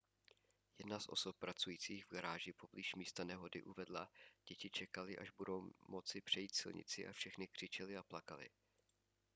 jedna z osob pracující v garáži poblíž místa nehody uvedla děti čekaly až budou moci přejít silnici a všechny křičely a plakaly